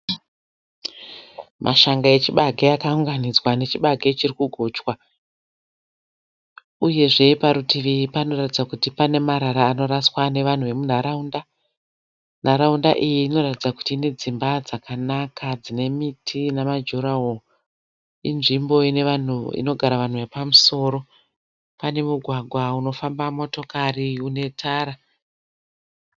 Mashanga echibage akaunganidzwa, nechibage chirikugochwa. Uyezve parutivi panoratidza kuti pane marara anoraswa nevanhu vemunharaunda . Nharaunda iyi inoratidza kuti ine dzimba dzakanaka dzine miti nema dura wall. Inzvimbo inogara vanhu vepamusoro. Pane mugwagwa unofamba motokari une tara .